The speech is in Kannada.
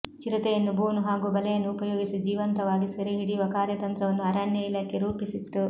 ಚಿರತೆಯನ್ನು ಬೋನು ಹಾಗೂ ಬಲೆಯನ್ನು ಉಪಯೋಗಿಸಿ ಜೀವಂತ ವಾಗಿ ಸೆರೆಹಿಡಿಯುವ ಕಾರ್ಯ ತಂತ್ರವನ್ನು ಅರಣ್ಯ ಇಲಾಖೆ ರೂಪಿ ಸಿತ್ತು